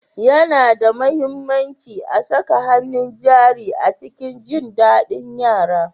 Yana da mahimmanci a saka hannun jari a cikin jin daɗin yara.